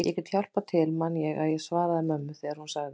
Ég gæti hjálpað til man ég að ég svaraði mömmu þegar hún sagði